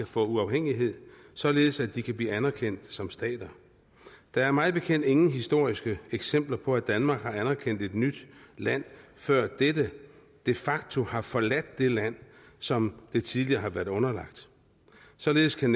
få uafhængighed således at de kan blive anerkendt som stater der er mig bekendt ingen historiske eksempler på at danmark har anerkendt et nyt land før dette de facto havde forladt det land som det tidligere havde været underlagt således kan